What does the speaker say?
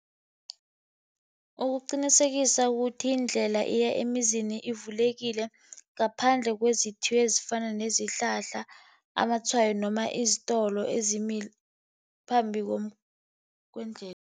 Ukuqinisekisa ukuthi indlela eya emizini ivulekile, ngaphandle ezifana nezihlahla, amatshwayo, noma isitolo ezimila phambi kwendlela.